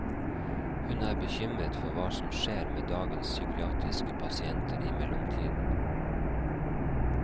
Hun er bekymret for hva som skjer med dagens psykiatriske pasienter i mellomtiden.